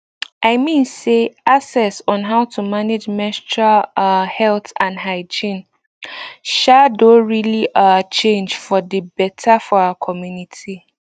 i mean say access on how to manage menstrual um health and hygiene um doh really um change for d better for our community